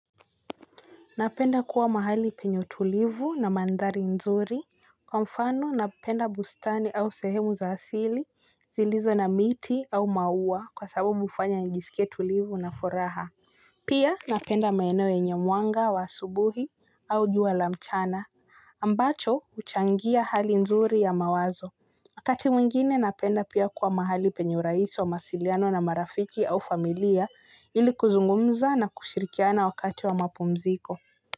Napenda kuwa mahali penye utulivu na mandhari nzuri. Kwa mfano napenda bustani au sehemu za asili zilizo na miti au maua kwa sababu ufanya njisike tulivu na furaha. Pia napenda maenewo yenye muanga wa asubuhi au jua la mchana. Ambacho uchangia hali nzuri ya mawazo. Wakati mwingine napenda pia kuwa mahali penye urahisi wa masiliano na marafiki au familia ili kuzungumza na kushirikiana wakati wa mapumziko.